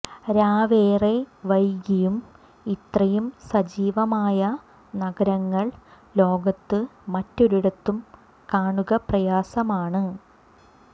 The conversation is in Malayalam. രാവേറെ വൈകിയും ഇത്രയും സജീവമായ നഗരങ്ങൾ ലോകത്ത് മറ്റൊരിടത്തും കാണുക പ്രയാസമാണ്